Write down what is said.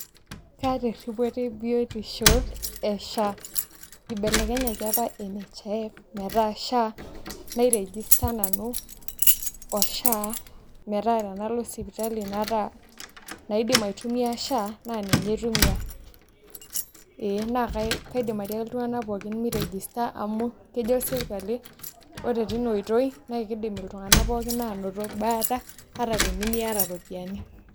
Kaata eripoto ee biotisho ee SHA ebelekenyaki apa NHIF meta sha nai register nanu metaa tenalo sipitali naidim aitumia SHA naa ninye aitumia ee naa kaidim atiaki iltung'anak pooki mei register amu kijo sirkali ore teina oitoi naa keidim iltung'anak pookin ainoto baata ata tenimiata iropiyiani.